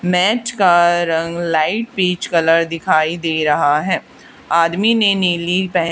मेज का रंग लाइट पीच कलर दिखाई दे रहा है आदमी ने नीली पैं--